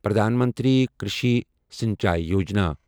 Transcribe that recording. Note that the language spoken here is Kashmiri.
پرٛدھان منتری کرٛشی سٕنچاے یوجنا